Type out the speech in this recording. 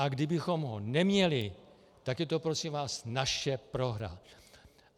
A kdybychom ho neměli, tak je to prosím vás naše prohra.